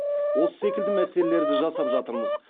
осы секілді мәселелерді жасап жатырмыз